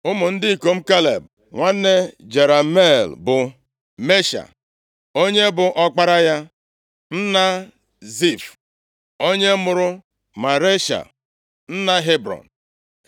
Ụmụ ndị ikom Kaleb nwanne Jerameel bụ Mesha onye bụ ọkpara ya, nna Zif, onye mụrụ Maresha nna Hebrọn.